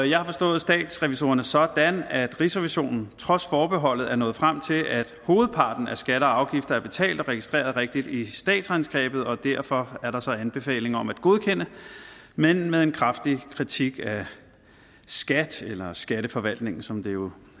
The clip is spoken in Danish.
jeg har forstået statsrevisorerne sådan at rigsrevisionen trods forbeholdet er nået frem til at hovedparten af skatter og afgifter er betalt og registreret rigtigt i statsregnskabet og derfor er der så anbefalinger om at godkende men med en kraftig kritik af skat eller skatteforvaltningen som det jo